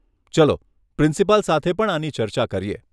ચલો પ્રિન્સિપાલ સાથે પણ આની ચર્ચા કરીએ.